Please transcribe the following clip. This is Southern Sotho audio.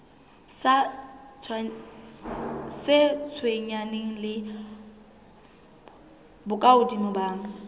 sa tshwenyaneng le bokahodimo ba